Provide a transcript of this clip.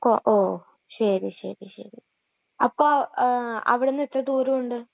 O, ഓ..ശരി, ശരി.അപ്പൊ...അവിടെന്നെത്ര ദൂരമുണ്ട് ?